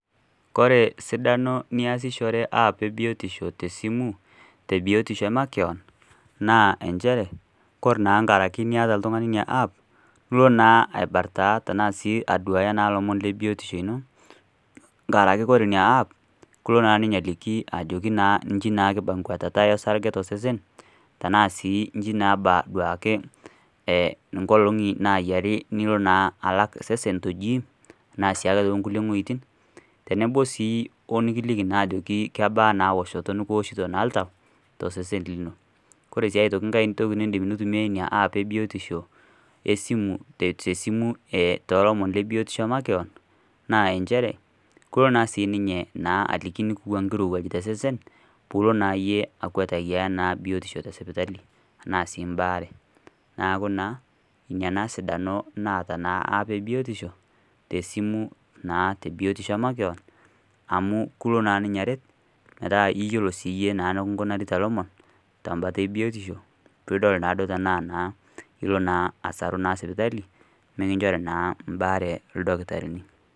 Kore esidano niyasishire app ee biotisho tesimu tebiotisho ee makeon naa inchere kore naa nkaraki niata oltung'ani app ilo naa aibartaa tenaa sii aduaya ilomon lebiotisho ino nkaraki ore inia app kelo naa ninye ajoki naa inji naa kiba enkwatata osarge tosesen enaa sii inji naa ebaa inkolong'i nayiari nilo naa alak sesen te gym naa sii ake too nkulie weitin teneboo sii oonkikiliki naa kebaa naa ewoshoto nikioshito naa oltaw too sesen lino kore sii aitoki nkae niindim eina app ee biotisho tesimu toolomon le biotisho naa inchere kelo naa sii ninye naa aliki eneba enkirewuaj tosesen pilo naa iyie akwet naa biotisho ino te sipitali embaare neeku naa ina naa sidano naata naa app ee biyotisho tesimu naa tebiotisho ee makeon amuu kelo naa ninye aret metaa iyolo sinye iye enkinkunita ilomo tenkalo ee biotisho piidol naa duo tenaa naa ilo naa asaru naa sipitali mekinchori naa embaare oldakitarini.